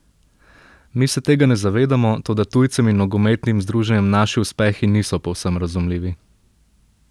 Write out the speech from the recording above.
Mi se tega ne zavedamo, toda tujcem in nogometnim združenjem naši uspehi niso povsem razumljivi.